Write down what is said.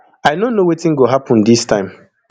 i no know wetin go happun dis time